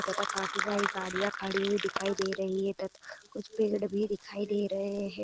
तथा काफी सारी गड़िया खड़ी हुई दिखाई दे रही है तथा कुछ पेड़ भी दिखाई दे रहे है।